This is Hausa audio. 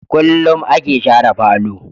Kullum a ke share falo